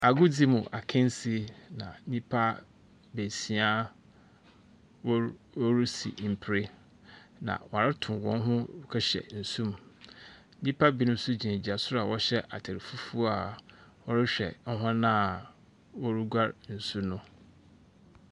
Agodzi mu akasie, na nnipa beesia, wɔr wɔresi mpire, na wɔreto wɔn ho kɔhyɛ nsum. Nyimpa bi nso gyinagyina soro a wɔhyɛ atar fufuo a wɔrehwɛ hɔn a wɔreguar nsu no.